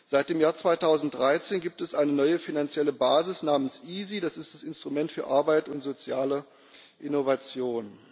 Seit dem Jahr 2013 gibt es eine neue finanzielle Basis namens EaSI, das ist das Instrument für Arbeit und soziale Innovation.